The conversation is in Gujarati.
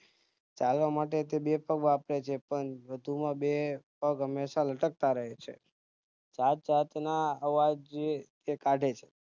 ચાલવા માટે તો બે જ પગ વાપરેછે પણ વધુમાં બે પગ હંમેશા લટકતા રહે છે જાતજાત ના અવાજ તે કાઢે છે